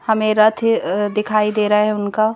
हमें रथ अ ए दिखाई दे रहा है उनका।